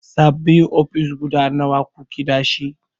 Sabin ofis guda nawa kuke dashi?